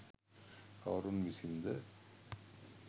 කවුරුන් විසින්ද?